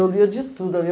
Eu lia de tudo